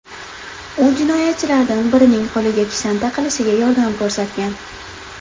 U jinoyatchilardan birining qo‘liga kishan taqilishiga yordam ko‘rsatgan.